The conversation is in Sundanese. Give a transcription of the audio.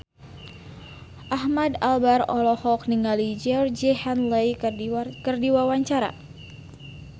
Ahmad Albar olohok ningali Georgie Henley keur diwawancara